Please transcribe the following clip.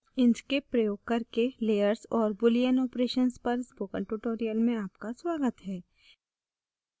inkscape प्रयोग करके layers और boolean operations पर spoken tutorial में आपका स्वागत है